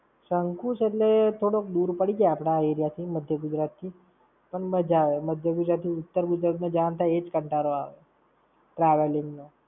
શકુંશ એટલે થોડો દૂર પડી જાય આપણા area થી, માધ્ય ગુજરાત થી. પણ મજા આવે, માધ્ય ગુજરાત થી ઉત્તર ગુજરાત માં જવાનું થાય એ જ કંટાળો આવે. Travelling નો.